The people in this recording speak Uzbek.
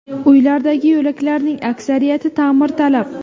Uylardagi yo‘laklarning aksariyati ta’mirtalab.